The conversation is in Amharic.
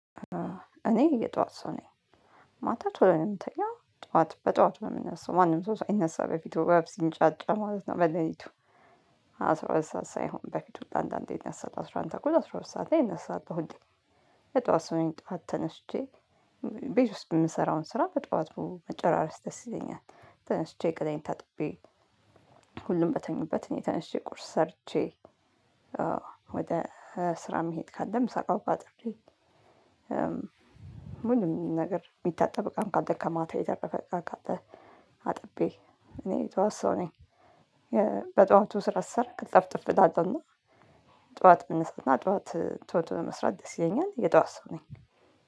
እኔ የጠዋት ሰው ነኝ። ማታ ቶሎ ነው የምተኛው ጠዋት በጠዋቱ የምነሳው ማንም ሰው ሳይነሳ በፊት ወፍ ሲንጫጫ ማለት ነው በሌሊቱ። አስራ ሁለት ሰዓት ሳይሆን በፊት አንዳንዴ አስራ አንድ ሰዓት አስራ ሁለት ሰዓት ላይ አስራ ሰዓት እነሳለሁ። የጧት ሰው ነኝ ጧት ተነሽቼ። ቤት ውስጥ የምሰራውን ስራ በጧቱ መጨራረስ ደስ ይለኛል። ተነስቼ ገላዬን ታጥቤ ሁሉም በተኙበት እኔ ተነስቼ ቁርስ ሰርቼ ወደ ስራ መሄድ ካለም ምሳቃ ቁአጥሬ። ምንም ነገር የሚታጠብ እቃ ካለ ከማታ የተረፈ ካለ። አጥቤ እኔ የተዋሰኝ የተዋሰነኝ። በጠዋቱ ስራ ስሰራ ቅ ልጥፍጥፍ እዳለን ነው። ጠዋት ብንሰጥና ጠዋት ቶቶ መስራት ደስ ይለኛል የጠዋት ሰው ነኝ።